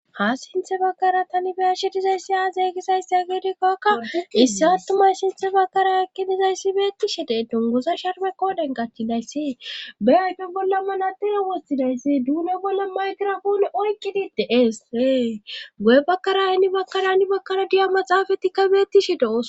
ha sinthe bakkara tanibeyashe dizayssi aazay gisayssa a geedikkakka issi attumay sinthe bakara ekkidizayssi beettishe denton goza sharbe kooden gachchidayssi beyayfe bolla manadeya woththidayssi duune bolla maydira hoone oykkidi deees ee go7e bakkara ayni bakkara ni bakkara diya maxaafatikka beettishe do7os